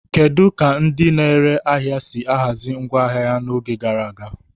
Kedu ka ndị na-ere ahịa si ahazi ngwa ahịa ha n'oge gara aga?